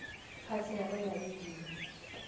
phathing go na le dino